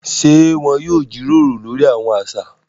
Ṣe wọn yóò jíròrò lórí awọn aṣa?